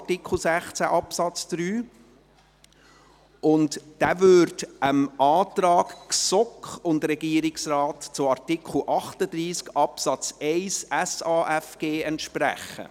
Dieser entspricht dem Antrag von GSoK und Regierungsrat zu Artikel 38 Absatz 1 des Gesetzes über die Sozialhilfe im Asyl- und Flüchtlingsbereich (SAFG) entsprechen.